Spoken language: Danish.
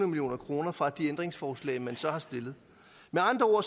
million kroner fra de ændringsforslag man så har stillet med andre